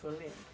O senhor lembra?